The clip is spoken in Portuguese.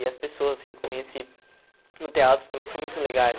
E as pessoas assim que conheci no teatro também são muito legais.